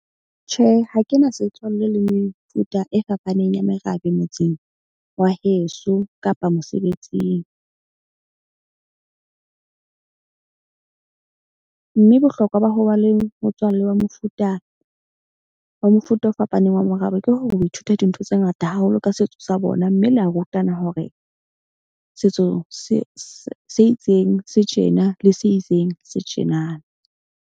Tjhe, ha ke na setswalle le mefuta e fapaneng ya merabe motseng wa heso kapa mosebetsing . Mme bohlokwa ba ho ba le motswallle wa mofuta o fapaneng wa morabe ke ho ithuta dintho tse ngata haholo ka setso sa bona. Mme le ya rutana hore setso se itseng se tjena le se itseng se tjenana.